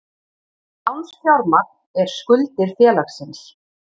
Lánsfjármagn er skuldir félagsins.